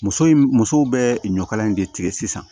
Muso in musow bɛ ɲɔkala in de tigɛ sisan